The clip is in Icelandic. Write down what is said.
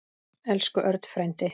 Elsku Örn frændi.